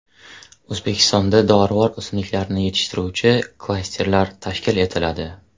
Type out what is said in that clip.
O‘zbekistonda dorivor o‘simliklarni yetishtiruvchi klasterlar tashkil etiladi.